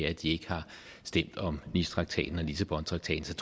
at de ikke har stemt om nicetraktaten og lissabontraktaten